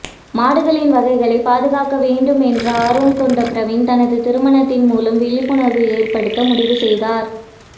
மாடுகளின் வகைகளை பாதுகாக்க வேண்டும் என்ற ஆர்வம் கொண்ட பிரவீன் தனது திருமணத்தின் மூலம் விழிப்புணர்வு ஏற்படுத்த முடிவு செய்தார்